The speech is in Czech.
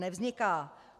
Nevzniká.